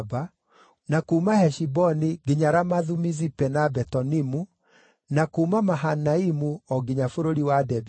na kuuma Heshiboni nginya Ramathu-Mizipe na Betonimu, na kuuma Mahanaimu o nginya bũrũri wa Debiri;